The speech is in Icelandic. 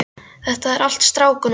Þetta er allt strákunum að kenna.